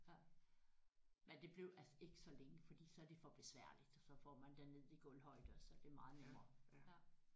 Ja men det blev altså ikke så længe fordi så er det for besværligt og så får man den ned i gulvhøjde og så er det meget nemmere ja